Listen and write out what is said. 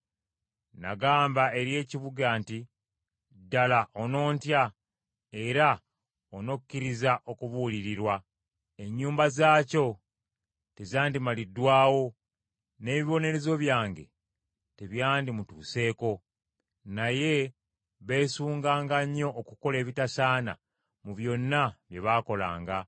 Nagamba eri ekibuga nti, ‘Ddala onontya, era onokkiriza okubuulirirwa.’ Ennyumba zaakyo tezandimaliddwawo, n’ebibonerezo byange byonna tebyandimutuuseeko. Naye beesunganga nnyo okukola ebitasaana mu byonna bye baakolanga.